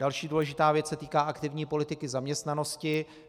Další důležitá věc se týká aktivní politiky zaměstnanosti.